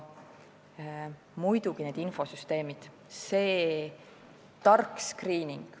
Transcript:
Muidugi, infosüsteemid, see tark skriining.